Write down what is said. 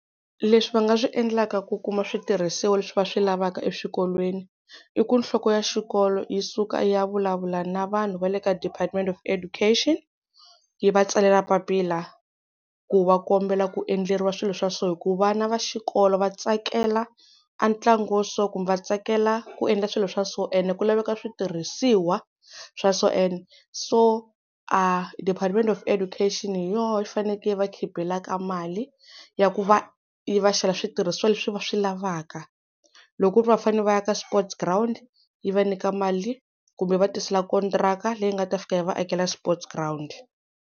Leswi va nga swi endlaka ku kuma switirhisiwa leswi va swi lavaka eswikolweni, i ku nhloko ya xikolo yi suka yi ya vulavula na vanhu va le ka Department of Education yi va tsalela papila ku va kombela ku endleriwa swilo swa so, hi ku vana va xikolo va tsakela a ntlangu wo so kumbe va tsakela ku endla swilo swa so, and ku laveka switirhisiwa swa so and so a Department of Education hi yona yi fanekele yi va khipelaka mali ya ku va yi va xavela switirhisiwa leswi va swi lavaka. Loko ku ri va fanele va aka sport ground yi va nyika mali kumbe yi va tisela kontraka leyi nga ta fika yi va akela sport ground.